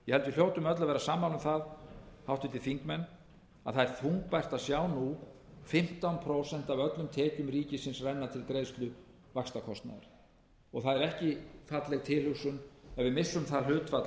hljótum öll að vera sammála um það háttvirtir þingmenn að það er þungbært að sjá nú fimmtán prósent af öllum tekjum ríkisins renna til greiðslu vaxtakostnaðar og það er ekki falleg tilhugsun ef við missum það hlutfall